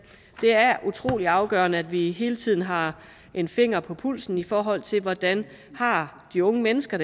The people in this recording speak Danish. det er utrolig afgørende at vi hele tiden har en finger på pulsen i forhold til hvordan de unge mennesker